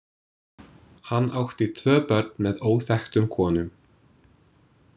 Hann átti tvö börn með óþekktum konum.